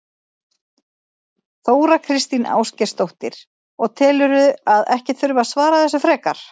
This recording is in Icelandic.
Þóra Kristín Ásgeirsdóttir: Og telurðu að ekki þurfi að svara þessu frekar?